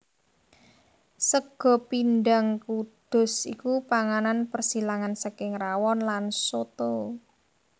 Sega Pindhang Kudus iku panganan persilangan saking rawon lan soto